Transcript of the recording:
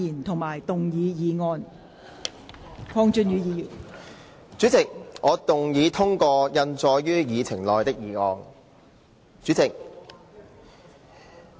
代理主席，我動議通過印載於議程內的議案。